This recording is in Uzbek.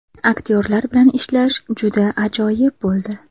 Aktyorlar bilan ishlash juda ajoyib bo‘ldi”.